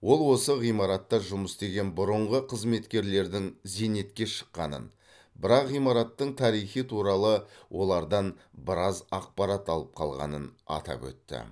ол осы ғимаратта жұмыс істеген бұрынғы қызметкерлердің зейнетке шыққанын бірақ ғимараттың тарихы туралы олардан біраз ақпарат алып қалғанын атап өтті